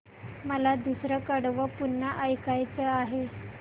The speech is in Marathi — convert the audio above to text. मला दुसरं कडवं पुन्हा ऐकायचं आहे